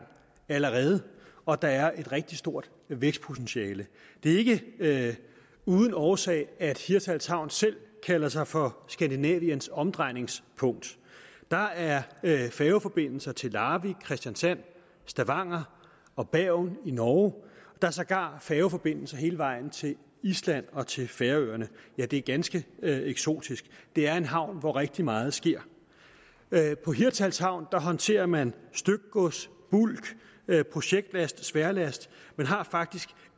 allerede og der er et rigtig stort vækstpotentiale det er ikke uden årsag at hirtshals havn selv kalder sig for skandinaviens omdrejningspunkt der er færgeforbindelse til larvik kristiansand stavanger og bergen i norge der er sågar færgeforbindelse hele vejen til island og til færøerne ja det er ganske eksotisk det er en havn hvor rigtig meget sker på hirtshals havn håndterer man stykgods bulk projektlast og sværlast man har faktisk